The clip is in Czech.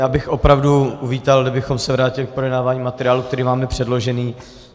Já bych opravdu uvítal, kdybychom se vrátili k projednávání materiálu, který máme předložený.